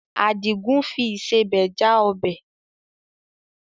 Àdìgún fi ìsebẹ̀ já ọbẹ̀.